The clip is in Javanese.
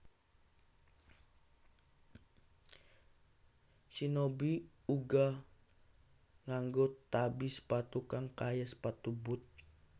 Shinobi uga nganggo tabi sepatu kang kaya sepatu boot